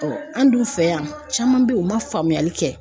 an dun fɛ yan caman bɛ yen u man faamuyali kɛ.